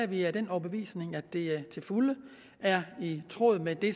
vi af den overbevisning at det til fulde er i tråd med det